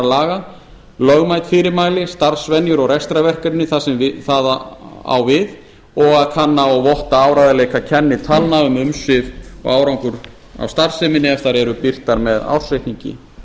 laga lögmæt fyrirmæli starfsvenjur og rekstrarverkefni þar sem það á við og kanna og votta áreiðanleika kennitalna um umsvif og árangur af starfseminni ef þær eru birtar með ársreikningi